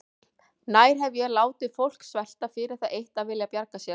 Nær hef ég látið fólk svelta fyrir það eitt að vilja bjarga sér?